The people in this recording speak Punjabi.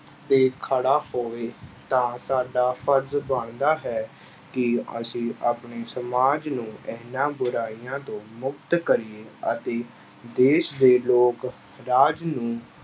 ਤੇ ਖੜਾ ਹੋਵੇ ਤਾਂ ਸਾਡਾ ਫ਼ਰਜ਼ ਬਣਦਾ ਹੈ ਕਿ ਅਸੀਂ ਆਪਣੇ ਸਮਾਜ ਨੂੰ ਇਹਨਾਂ ਬੁਰਾਈਆਂ ਤੋਂ ਮੁਕਤ ਕਰੀਏ ਅਤੇ ਦੇਸ ਦੇ ਲੋਕ ਰਾਜ ਨੂੰ